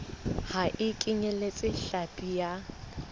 ha e kenyeletse hlapi ya